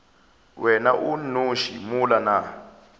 wena o nnoši mola nna